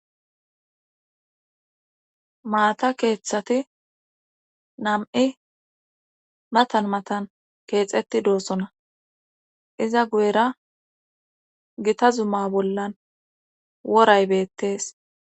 Maata keeththati nam7i matan matan keexeti doosona iza guyera gita zumma bollan woray beettees